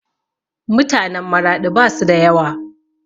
Mutanen Maraɗi basu da yawa